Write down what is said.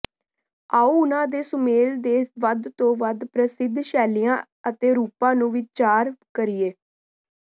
ਆਉ ਉਨ੍ਹਾਂ ਦੇ ਸੁਮੇਲ ਦੇ ਸਭ ਤੋਂ ਵੱਧ ਪ੍ਰਸਿੱਧ ਸ਼ੈਲੀਆਂ ਅਤੇ ਰੂਪਾਂ ਨੂੰ ਵਿਚਾਰ ਕਰੀਏ